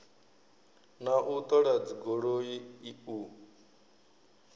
na u ṱola dzigoloi u